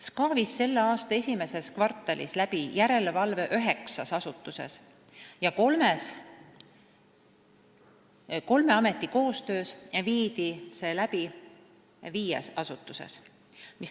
SKA tegi selle aasta esimeses kvartalis järelevalvet üheksas asutuses ja kolme ameti koostöös tehti seda viies asutuses.